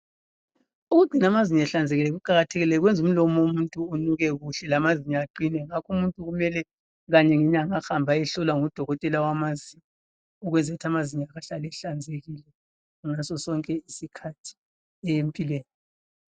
Ukugcina amazinyo ehlanzekile kuqakathekile kwenza umlomo womuntu unuke kuhle lamazinyo aqine. Ngakho umuntu kumele kanye ngomnyaka ahambe ayehlolwa ngudokotela wamazinyo ukwenzela ukuthi amazinyo akhe ehlale ehlanzekile ngasosonke isikhathi empilweni.